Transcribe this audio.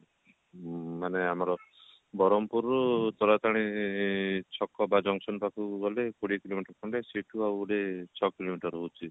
ଉଁ ମାନେ ଆମର ବରହମପୁର ରୁ ତାରାତାରିଣୀ ଛକ ଟା junction ପାଖକୁ ଗଲେ କୋଡିଏ କିଲୋମିଟର ଖଣ୍ଡେ ସେଠୁ ଆହୁରି ଛଅ କିଲୋମିଟର ରହୁଛି